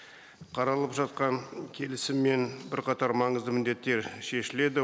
қаралып жатқан келісіммен бірқатар маңызды міндеттер шешіледі